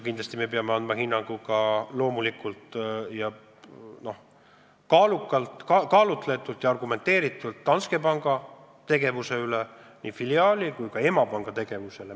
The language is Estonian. Kindlasti me peame andma kaalutletud ja argumenteeritud hinnangu ka Danske panga tegevusele, nii filiaali kui ka emapanga tegevusele.